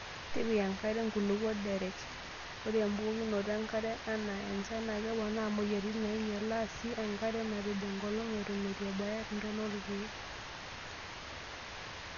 Tipika enkare nkulukuok derec. Ore embukokinoto enkare anaa enchan naa keponaa moyiaritin neinyalaa sii enkare napej enkolong' eton eitu ebaya ntona oolkeek.